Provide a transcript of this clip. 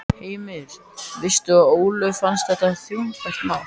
Heimir: Veistu að Ólöfu fannst þetta þungbært mál?